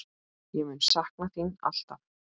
Ég mun sakna þín alltaf.